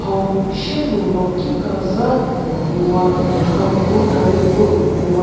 hau shie nu ro ki kezha puo ngu wa hau mu gari kro puo ngu wa.